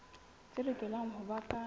tse lokelang ho ba ka